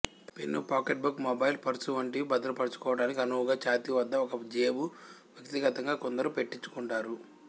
pen pocket book mobile purse వంటివి భద్రపరచుకొనటానికి అనువుగా ఛాతీ వద్ద ఒక జేబు వ్యక్తిగతంగా కొందరు పెట్టించుకొంటారు